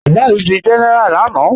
Abás dí géneráá lànà